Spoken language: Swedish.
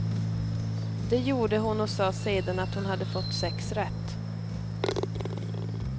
Det gjorde hon och sa sedan att hon hade fått sex rätt.